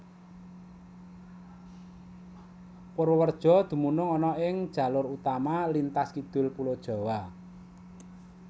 Purwareja dumunung ana ing jalur utama lintas kidul Pulo Jawa